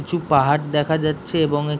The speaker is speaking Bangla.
কিছু পাহাড় দেখা যাচ্ছে এবং এ--